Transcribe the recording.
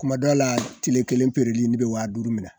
Kuma dɔw la tile kelen peereli ne be wa duuru minɛ